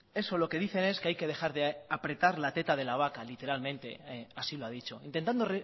eso lo que dicen es que hay que dejar de apretar la teta de la vaca literalmente así lo ha dicho intentando